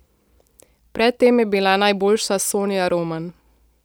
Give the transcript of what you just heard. Pred tem je bila najboljša Sonja Roman.